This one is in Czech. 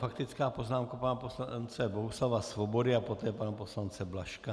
Faktická poznámka pana poslance Bohuslava Svobody a poté pana poslance Blažka.